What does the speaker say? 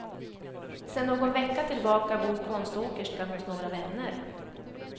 Sen någon vecka tillbaka bor konståkerskan hos några vänner.